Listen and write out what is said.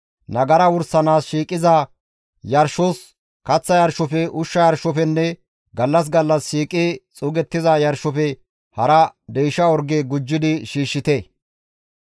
Nagara wursanaas shiiqiza yarshos, kaththa yarshofe, ushsha yarshofenne gallas gallas shiiqi xuugettiza yarshofe hara deysha orge gujjidi shiishshite.